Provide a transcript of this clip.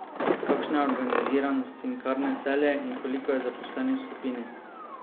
Kakšna je organiziranost Cinkarne Celje in koliko je zaposlenih v skupini?